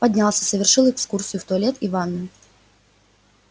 поднялся совершил экскурсию в туалет и ванную